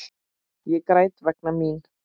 Ég græt vegna mín.